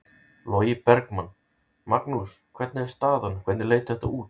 Logi Bergmann: Magnús hvernig er staðan, hvernig leit þetta út?